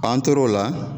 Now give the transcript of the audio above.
An tor'o la